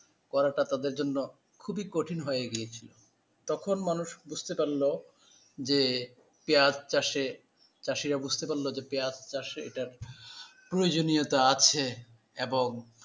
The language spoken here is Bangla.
করাটা তাদের জন্য খুবই কঠিন হয়ে গিয়েছিল তখন মানুষ বুঝতে পারল যে পেঁয়াজ চাষে চাষিরা বুঝতে পারল যে পেঁয়াজ চাষ এটার প্রয়োজনীয়তা আছে এবং,